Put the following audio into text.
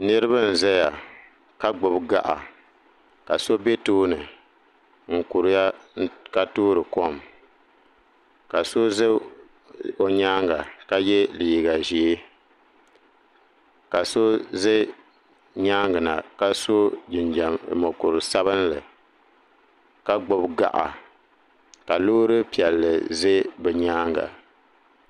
Niriba n zaya ka gbibi gaɣa ka so be tooni n kuriya ka toori kom ka so za o nyaanga ka ye liiga ʒee ka so za nyaanga na ka so mokuru sabinli ka gbibi gaɣa loori piɛlli ʒɛ bɛ nyaanga.